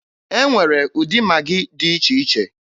E nwere ụdị Magị dị iche iche.